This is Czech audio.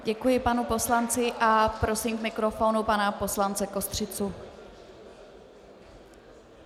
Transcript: Děkuji panu poslanci a prosím k mikrofonu pana poslance Kostřicu.